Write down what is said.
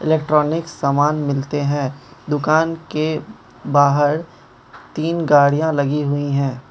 Electronic सामान मिलते है दुकान के बाहर तीन गाड़ियां लगी हुई हैं।